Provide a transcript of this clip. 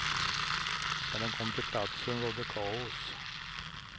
När den kom till platsen rådde kaos.